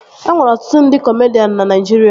E nwere ọtụtụ ndị kọmedian na Naịjirịa